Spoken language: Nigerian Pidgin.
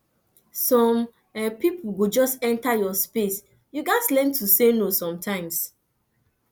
some pipo go just enter your space you gatz learn to say no sometimes